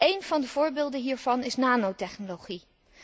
Een van de voorbeelden hiervan is nanotechnologie.